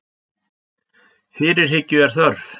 Fyrirhyggju er þörf